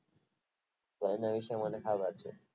ખાવા છે